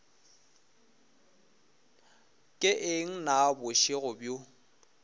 ke eng na bošego bjo